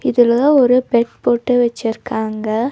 இதுல ஒரு பெட் போட்டு வெச்சிருக்காங்க.